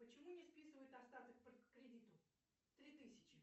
почему не списывают остаток по кредиту три тысячи